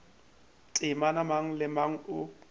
temana mang le mang o